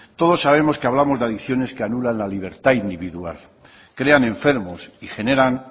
todos sabemos que hablamos de adicciones que anulan la libertad individual crean enfermos y generan